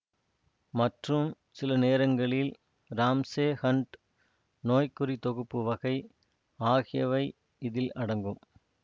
மற்றும் சிலநேரங்களில் Ramsay Hunt நோய்குறித்தொகுப்பு வகை ஆகியவை இதில் அடங்கும்